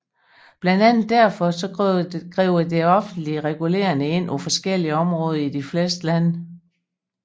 Blandt andet derfor griber det offentlige regulerende ind på forskellige områder i de fleste lande